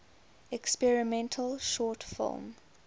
experimental short film